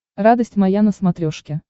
радость моя на смотрешке